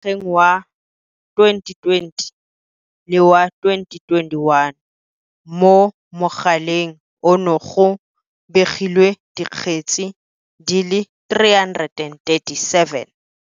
Mo ngwageng wa 2020 le wa 2021, mo mogaleng ono go begilwe dikgetse di le 337.